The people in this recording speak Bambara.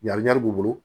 b'u bolo